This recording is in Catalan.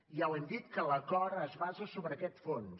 ja ho hem dit que l’acord es basa sobre aquest fons